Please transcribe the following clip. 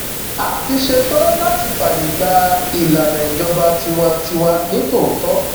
a ti ṣetán láti fààyè gba ìlànà ìjọba tiwantiwa nítòótọ